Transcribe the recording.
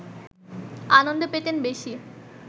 আনন্দ পেতেন বেশি